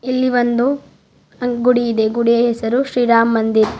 ಇಲ್ಲಿ ಒಂದು ಗುಡಿ ಇದೆ ಗುಡಿಯ ಹೆಸರು ಶ್ರೀ ರಾಮ್ ಮಂದಿರ್.